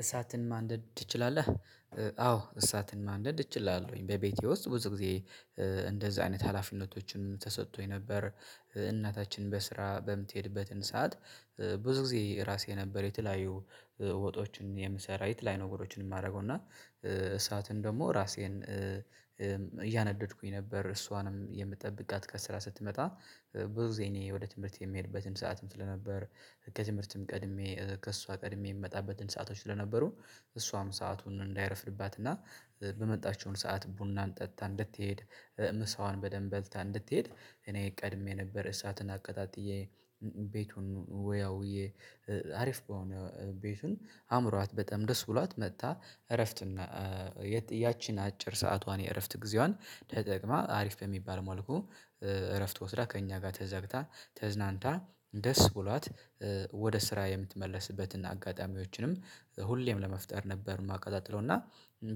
እሳትን ማንደድ ትችላለህ? አዎ እሳትን ማንደድ እችላለሁኝ በቤቴ ውስጥ ብዙ ጊዜ። እንደዛ አይነት ሀላፊነቶችን ተሰጥቶኝ ነበር። እናታችን በስራ በምትሄድበትን ሰዓት። ብዙ ጊዜ ራሴ ነበር የተለያዩ ወጦችን የምሰራይት ላይ ነገሮችን የማደርገው እና። እሳትን ደግሞ ራሴን እያነደድኩኝ ነበር እሷንም የምጠብቃት ከስራ ስትመጣ ብዙ ጊዜ እኔ ወደ ትምህርት የምሄድበትን ሰዓትም ስለነበር። ከትምህርትም ቀድሜ ከእሷ ቀድሜ የምመጣበትን ሰአቶች ለነበሩ። እሷም ሰአቱን እንዳይረፍድባት እና በመጣችውን ሰዓት ቡናን ጠጥታ እንድትሄድ። ምሳዋን በደንብ በልታ እንድትሄድ እኔ ቀድሜ ነበር እሳትን አቀጣጥዬ። ቤቱን ወያውዬ። አሪፍ በሆነ ቤቱን አምሯት በጣም ደስ ብሏት መጥታ እረፍት እና ያቺን አጭር ሰዓቷን የእረፍት ጊዜዋን ተጠቅማ አሪፍ በሚባል ማለቁ። እረፍት ወስዳ ከእኛ ጋር ተዘግታ ተዝናንታ ደስ ብሏት። ወደ ስራ የምትመለስበትን አጋጣሚዎችንም ሁሌም ለመፍጠር ነበር የማቀጣጥለው እና።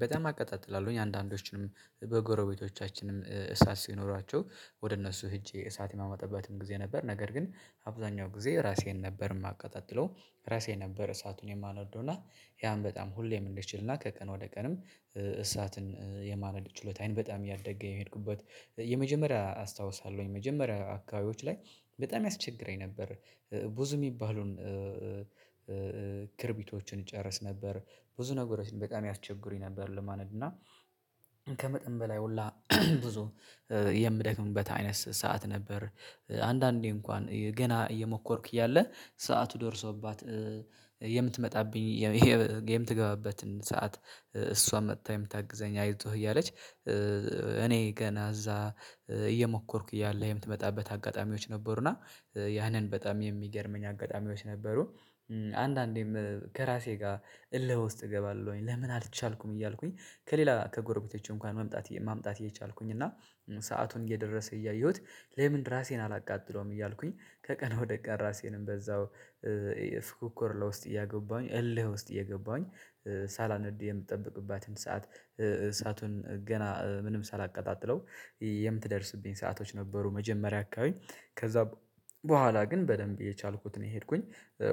በጣም አቀጣጥላለሁኝ አንዳንዶችንም በጎረቤቶቻችንም እሳት ሲኖሯቸው ወደ እነሱ ሄጄ እሳት የማመጣበትም ጊዜ ነበር። ነገር ግን አብዛኛው ጊዜ ራሴን ነበር የማቀጣጥለው። ራሴ ነበር እሳቱን የማናውቀው እና ያን በጣም ሁሌም እንድትችል እና ከቀን ወደ ቀንም እሳትን የማለድ ችሎታዬን በጣም እያደገ የሄድኩበት። የመጀመሪያ አስታውሳለሁኝ የመጀመሪያ አካባቢዎች ላይ በጣም ያስቸግረኝ ነበር። ብዙ የሚባለውን ክርቢቶችን ይጨርስ ነበር። ብዙ ነገሮችን በጣም ያስቸግሩኝ ነበር ለማነድ እና። ከመጠን በላይ ሁላ ብዙ የምደክምበት አይነት ሰዓት ነበር። አንዳንዴ እንኳን ገና እየሞከርክ ያለ ሰዓቱ ደርሶባት። የምትመጣብኝ የምትገባበትን ሰዓት እሷን መጥታ የምታግዘኝ አይዞህ እያለች። እኔ ገና እዛ እየሞከርኩኝ ያለ የምትመጣበት አጋጣሚዎች ነበሩና። ያንን በጣም የሚገርመኝ አጋጣሚዎች ነበሩ። አንዳንዴም ከራሴ ጋር እልህ ውስጥ እገባለሁኝ ለምን አልቻልኩም እያልኩኝ። ከሌላ ከጎረቤቶቼ እንኳን መምጣት ማምጣት እየቻልኩኝ እና ሰአቱን እየደረሰ እያየሁት ለምን ራሴን አላቃጥለውም እያልኩኝ። ከቀነ ወደ ቀን ራሴንም በዛው ፉክክር ለውስጥ እያገባኝ እልህ ውስጥ እየገባኝ። ሳላንዲ የምትጠብቅባትን ሰዓት እሳቱን ገና ምንም ሳላቀጣጥለው። የምትደርስብኝ ሰአቶች ነበሩ። መጀመሪያ አካባቢ ከዛ በኋላ ግን በደንብ የቻልኩትን እኔ ሄድኩኝ።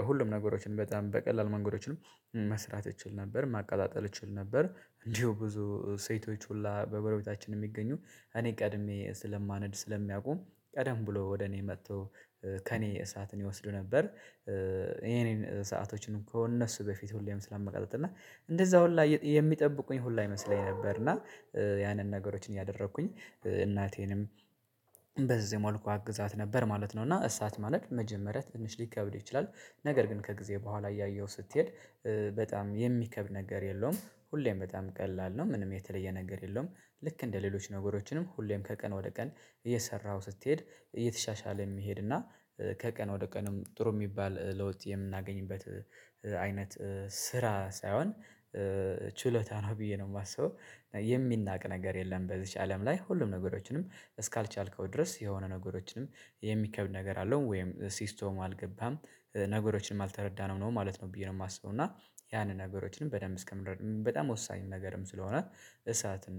ሁሉም ነገሮችን በጣም በቀላሉ መንገዶችንም መስራት እችል ነበር ማቃጣጠል እችል ነበር እንዲሁ ብዙ ሴቶች ሁላ በጎረቤቶቻችን የሚገኙ እኔ ቀድሜ ስለማነድ ስለሚያቁም ቀደም ብሎ ወደ እኔ መጥቶ ከእኔ እሳትን ይወስዱ ነበር። የኔን ሰአቶችን እኮ እነሱ በፊት ሁሌም ስለመቀጣት እና እንደዛ ሁላ የሚጠብቁኝ ሁላ ይመስለኝ ነበር። እና ያንን ነገሮችን እያደረኩኝ እናቴንም በዚህ መልኩ አግዛት ነበር ማለት ነው። እና እሳት ማለት መጀመሪያ ትንሽ ሊከብድ ይችላል። ነገር ግን ከጊዜ በኋላ እያየሁ ስትሄድ በጣም የሚከብድ ነገር የለውም ሁሌም በጣም ቀላል ነው ምንም የተለየ ነገር የለውም። ልክ እንደ ሌሎች ነገሮችንም ሁሌም ከቀን ወደ ቀን እየሰራሁ ስትሄድ እየተሻሻለ የሚሄድ እና ከቀን ወደ ቀንም ጥሩ የሚባል ለውጥ የምናገኝበት። አይነት ስራ ሳይሆን ችሎታ ነው ብዬ ነው የማስበው። የሚናቅ ነገር የለም በዚች አለም ላይ ሁሉም ነገሮችንም እስካልቻልከው ድረስ የሆነ ነገሮችንም የሚከብድ ነገር አለው ወይም ሲስቶም አልገባም። ነገሮችንም አልተረዳንም ነው ማለት ነው ብዬ ነው የማስበው። እና ያንን ነገሮችንም በደንብ እስከምን በጣም ወሳኝ ነገርም ስለሆነ። እሳትን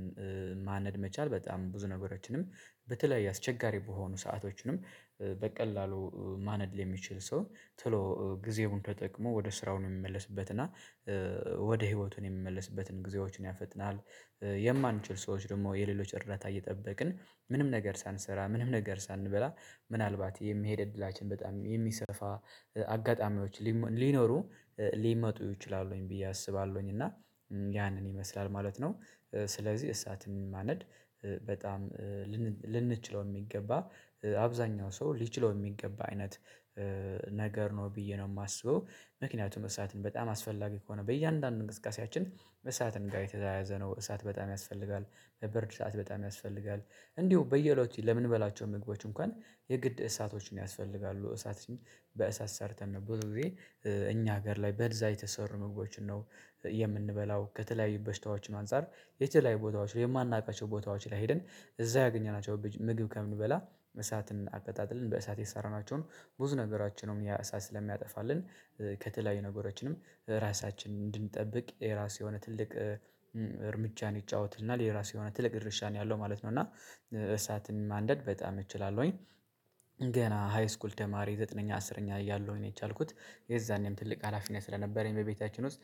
ማነድ መቻል በጣም ብዙ ነገሮችንም በተለይ አስቸጋሪ በሆኑ ሰአቶችንም በቀላሉ ማነድ የሚችል ሰው ቶሎ ጊዜውን ተጠቅሞ ወደ ስራው ነው የሚመለስበት እና ወደ ህይወቱን የሚመለስበትን ጊዜዎችን ያፈጥናል። የማንችል ሰዎች ደግሞ የሌሎች እርዳታ እየጠበቅን ምንም ነገር ሳንሰራ ምንም ነገር ሳንበላ። ምናልባት የሚሄድ እድላችን በጣም የሚሰርፋ አጋጣሚዎች ሊኖሩ። ሊመጡ ይችላሉኝ ብዬ አስባለሁኝ። እና ያንን ይመስላል ማለት ነው። ስለዚህ እሳትም ማነድ በጣም ልንችለው የሚገባ አብዛኛው ሰው ሊችለው የሚገባ አይነት ነገር ነው ብዬ ነው የማስበው። ምክንያቱም እሳትን በጣም አስፈላጊ ከሆነ በእያንዳንዱ እንቅስቃሴያችን በእሳትን ጋር የተያያዘ ነው እሳት በጣም ያስፈልጋል። በበርድ ሰዓት በጣም ያስፈልጋል። እንዲሁ በየለው ለምን እንበላቸው ምግቦች እንኳን የግድ እሳቶችን ያስፈልጋሉ እሳት በእሳት ሰርተን ነበር ብዙ ጊዜ። እኛ ሀገር ላይ በዛ የተሰሩ ምግቦችን ነው። የምንበላው ከተለያዩ በሽታዎች አንፃር የት ላይ ቦታዎች ላይ የማናውቃቸው ቦታዎች ላይ ሄድን እዛ ያገኘናቸው ምግብ ከምንበላ። መሳትን አቀጣጥልን በእሳት የተሰራናቸውን ብዙ ነገራችን ያሳ ስለሚያጠፋልን። ከተለያዩ ነገሮችንም ራሳችንን እንድንጠብቅ የራስ የሆነ ትልቅ እርምጃን ይጫወትና ለራስ የራሱ የሆነ ትልቅ ድርሻ ነው ያለው ማለት ነው። እና እሳትን ማንደድ በጣም እችላለሁኝ። ገና ሃይስኩል ተማሪ ዘጠነኛ አስረኛ እያለሁ ነው የቻልኩት የዛኔም ትልቅ ሀላፊነት ስለነበረኝ በቤታችን ውስጥ